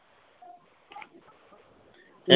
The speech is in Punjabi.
ਹੈਂ